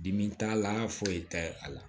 Dimi t'a la foyi t'a a la